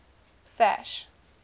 sash